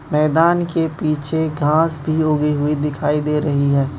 मैदान के पीछे घास भी उगी हुई दिखाई दे रही है।